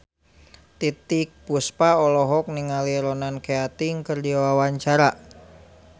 Titiek Puspa olohok ningali Ronan Keating keur diwawancara